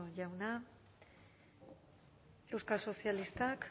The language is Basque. jauna euskal sozialistak